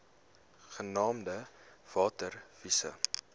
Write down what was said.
genaamd water wise